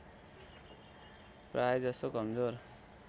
प्राय जसो कमजोर